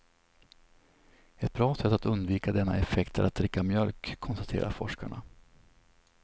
Ett bra sätt att undvika denna effekt är att dricka mjölk, konstaterar forskarna.